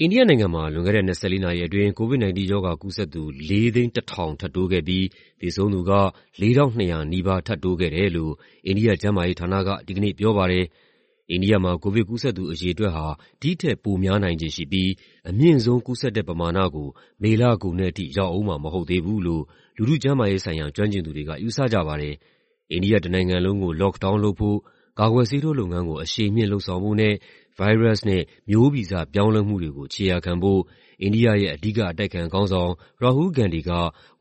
အိန္ဒိယနိုင်ငံမှာ လွန်ခဲ့တဲ့ ၂၄ နာရီအတွင်း COVID-19 ရောဂါကူးစက်သူ ၄၀၁,၀၀၀ ထပ်တိုးခဲ့ပြီး သေဆုံးသူက ၄,၂၀၀ နီးပါး ထပ်တိုးခဲ့တယ်လို့ အိန္ဒိယ ကျန်းမာရေးဌာနက ဒီကနေ့ပြောပါတယ်။ အိန္ဒိယမှာ ကိုဗစ်ကူးစက်သူ အရေအတွက်ဟာ ဒီ့ထက် ပိုများနိုင်ခြေရှိပြီး အမြင့်ဆုံး ကူးစက်တဲ့ ပမာဏကို မေလကုန်တဲ့အထိ ရောက်ဦးမှာ မဟုတ်သေးဘူးလို့ လူထုကျန်းမာရေးဆိုင်ရာ ကျွမ်းကျင်သူတွေက ယူဆကြပါတယ်။ အိန္ဒိယတနိုင်ငံလုံးကို lockdown လုပ်ဖို့၊ ကာကွယ်ဆေးထိုးလုပ်ငန်းကို အရှိန်မြှင့်လုပ်ဆောင်ဖို့နဲ့ ဗိုင်းရပ်စ်နဲ့ မျိုးဗီဇပြောင်းလဲမှုတွေကို ခြေရာခံဖို့ အိန္ဒိယ အဓိက အတိုက်အခံခေါင်းဆောင် Rahul Gandhi က